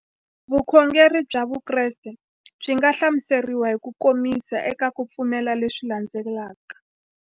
Vukhongeri bya Vukreste byi nga hlamuseriwa hi kukomisa eka ku pfumela leswi landzelaka.